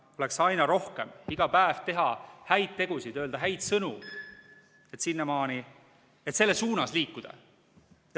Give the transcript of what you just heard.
iga päev teha häid tegusid, öelda häid sõnu, et selles suunas liikuda.